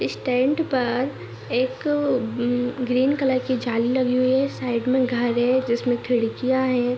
इस टेंट पर एक ग्रीन कलर की जाली लगी हुई है साईड में घर है जिसपर खिड़कियां हैं।